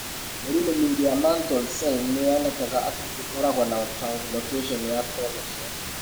Mĩrimũ mĩingĩ ya mantle cell nĩ yonekaga atĩ nĩ ĩkoragwo na translocation ya chromosome.